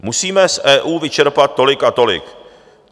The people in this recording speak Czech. Musíme z EU vyčerpat tolik a tolik!